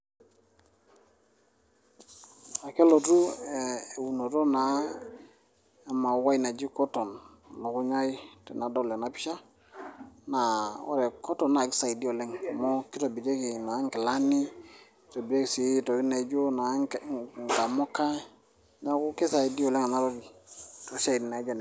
Akelotu ee eunoto naa e mauai naji cotton e lukunya ai tenadol ena pisha naa ore cotton na kisaidia oleng amu kitobirieki naa nkilani itobirieki sii ntokitin naijo naa nkamuka neeku kisaidia oleng ena toki toosiaitin naijo nena.